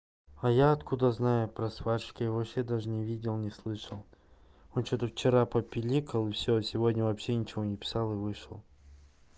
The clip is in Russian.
а я откуда знаю про сварщик я его вообще даже не видел не слышал он что-то вчера попиликал и все сегодня вообще ничего не писал и вышел